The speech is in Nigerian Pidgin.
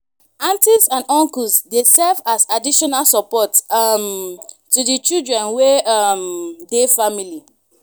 aunties and uncles dey serve as additional support um to di children wey um dey family